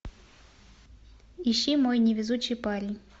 ищи мой невезучий парень